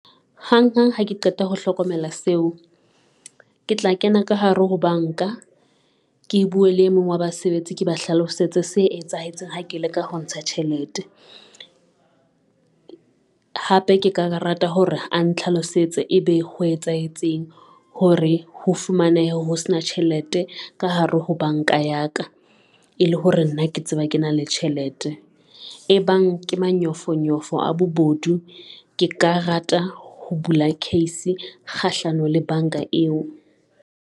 Hang hang ha ke qeta ho hlokomela seo, ke tla kena ka hare ho banka ke bue le emong wa basebetsi ke ba hlalosetse se etsahetseng ha ke leka ho ntsha tjhelete. Hape ke ka rata hore a ntlhalosetse ebe ho etsahetseng hore ho fumanehe ho sena tjhelete ka hare ho banka ya ka, e le hore re nna ke tseba ke na le tjhelete. E bang ke manyofonyofo a bobodu, ke ka rata ho bula case kgahlano le banka eo.